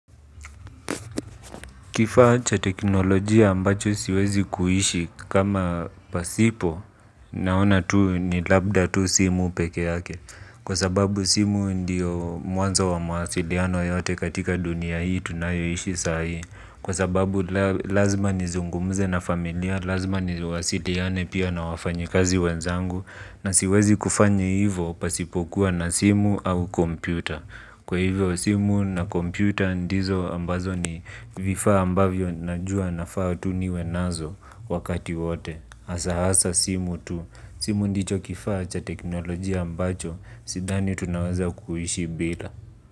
Kifaa cha teknolojia ambacho siwezi kuishi kama pasipo naona tu ni labda tu simu peke yake. Kwa sababu simu ndiyo mwanza wa mahasiliano yote katika dunia hii tunayoishi saa hii. Kwa sababu lazima nizungumuze na familia, lazima niwasiliane pia na wafanyakazi wenzangu. Na siwezi kufanya hivyo pasipo kuwa na simu au kompyuta. Kwa hivyo, simu na kompyuta ndizo ambazo ni vifaa ambavyo najua vinafaa tu niwe nazo wakati wote. Hasa simu tu. Simu ndicho kifaa cha teknolojia ambacho, sidhani tunaweza kuhishi bila.